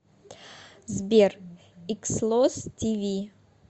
сбер икслос ти ви